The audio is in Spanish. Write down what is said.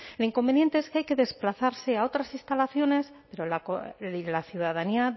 el inconveniente es que hay que desplazarse a otras instalaciones pero la ciudadanía